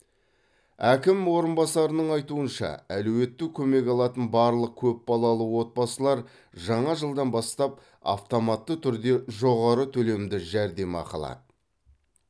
әкім орынбасарының айтуынша әлеуетті көмек алатын барлық көп балалы отбасылар жаңа жылдан бастап автоматты түрде жоғары төлемді жәрдемақы алады